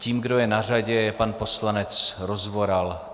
Tím, kdo je na řadě, je pan poslanec Rozvoral.